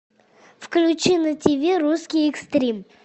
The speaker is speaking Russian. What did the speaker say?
включи на тиви русский экстрим